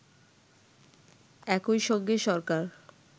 একই সঙ্গে সরকার